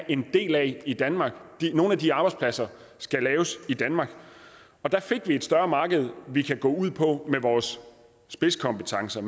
en del af i danmark nogle af de arbejdspladser skal laves i danmark og der fik vi et større marked vi kan gå ud på med vores spidskompetencer